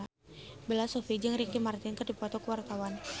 Bella Shofie jeung Ricky Martin keur dipoto ku wartawan